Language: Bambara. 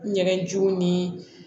N yɛrɛ jo ni